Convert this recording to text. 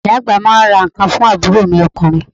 Ìyá àgbà máa ń ra ǹkan fún àbúrò mi ọkùnrin.